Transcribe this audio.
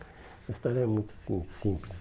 A história é muito sim simples.